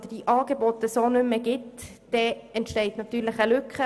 Sollte es die Angebote nicht mehr geben, entsteht natürlich eine Lücke.